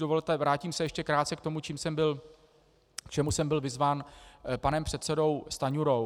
Dovolte, vrátím se ještě krátce k tomu, k čemu jsem byl vyzván panem předsedou Stanjurou.